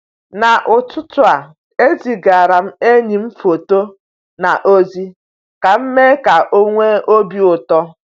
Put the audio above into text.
n'ụtụtụ a, ezigaara m enyi m foto na ozi ka m mee ka ọ nwee obi ụtọ.